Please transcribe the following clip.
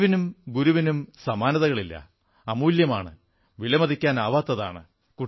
അറിവിനും ഗുരുവിനും സമാനതകളില്ല അമൂല്യമാണ് വിലമതിക്കാനാവാത്തതാണ്